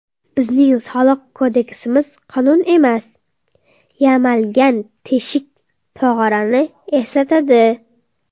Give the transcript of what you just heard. Bizning soliq kodeksimiz qonun emas, yamalgan teshik tog‘orani eslatadi.